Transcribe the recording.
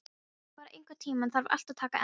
Blævar, einhvern tímann þarf allt að taka enda.